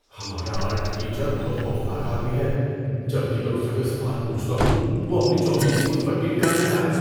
ہمارا art teacher بہت خوفناک آدمی ہے۔ جب بھی میں اس سے کوئی سوال پوچھتا ہوں، وہ اپنی چوبی فٹ پٹی نکال لیتا ہے۔